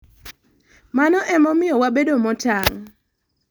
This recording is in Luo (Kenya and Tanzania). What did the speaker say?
Mano e momiyo wabedo motang'